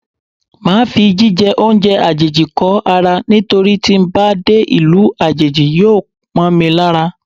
Máa fi jí jẹ oúnjẹ àjèjì kó ara nítorí tí ń bá dé ìlú àjèjì yóò mọ́ mi lára.